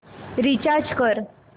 recharge कर